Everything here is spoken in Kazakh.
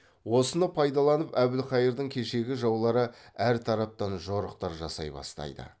осыны пайдаланып әбілқайырдың кешегі жаулары әр тараптан жорықтар жасай бастайды